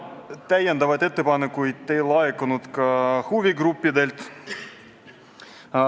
Täiendavaid ettepanekuid ei laekunud ka huvigruppidelt.